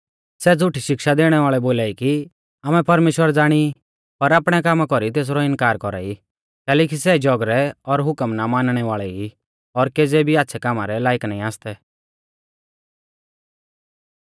सै झ़ुठी शिक्षा दैणै वाल़ै बोलाई कि आमै परमेश्‍वर ज़ाणी ई पर आपणै कामा कौरी तेसरौ इनकार कौरा ई कैलैकि सै जौगरै और हुकम ना मानणै वाल़ै ई और केज़ै भी आच़्छ़ै कामा रै लायक नाईं आसतै